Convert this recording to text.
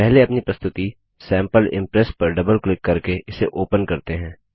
पहले अपनी प्रस्तुति सैंपल इम्प्रेस पर डबल क्लिक करके इसे ओपन करते हैं